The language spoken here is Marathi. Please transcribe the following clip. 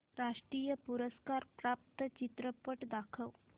राष्ट्रीय पुरस्कार प्राप्त चित्रपट दाखव